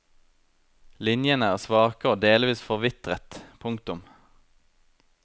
Linjene er svake og delvis forvitret. punktum